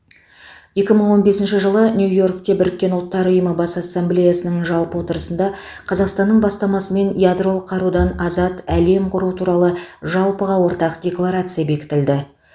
екі мың он бесінші жылы нью йоркте біріккен ұлттар ұйымы бас ассамблеясының жалпы отырысында қазақстанның бастамасымен ядролық қарудан азат әлем құру туралы жалпыға ортақ декларация бекітілді